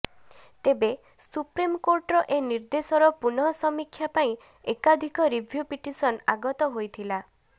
ତେବେ ସୁପ୍ରିମକୋର୍ଟର ଏ ନିର୍ଦ୍ଦେଶର ପୁନଃ ସମୀକ୍ଷା ପାଇଁ ଏକାଧିକ ରିଭ୍ୟୁ ପିଟିସନ ଆଗତ ହୋଇଥିଲା